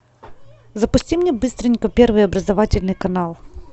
запусти мне быстренько первый образовательный канал